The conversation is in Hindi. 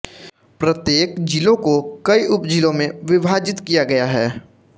प्रत्येक जिलों को कई उपजिलों में विभाजित किया गया है